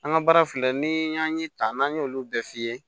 An ka baara filɛ nin y'an ye tan n'an y'olu bɛɛ f'i ye